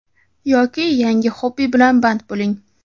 yoki yangi hobby bilan band bo‘ling.